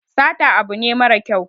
Sata abu ne mara kyau